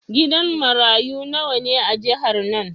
Gidan marayu nawa ne a jihar nan?